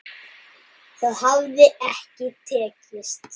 Það hafi ekki tekist.